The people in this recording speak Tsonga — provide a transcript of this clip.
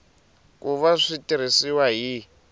ku va swi tirhisiwa hi